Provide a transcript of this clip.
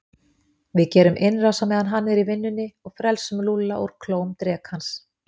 Við gerum innrás á meðan hann er í vinnunni og frelsum Lúlla úr klóm drekans